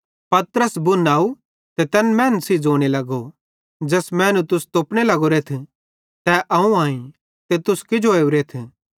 पतरस बुन आव ते तैन मैनन् सेइं ज़ोने लगो ज़ैस मैनू तुस तोपने लगोरेथ तै अवं आईं ते तुस किजो ओरेथ